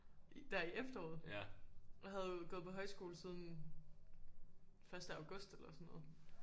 Der i efteråret jeg havde jo gået på højskole siden første august eller sådan noget